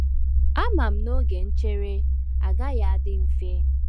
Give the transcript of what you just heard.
Ama m na oge nchere agaghị adị mfe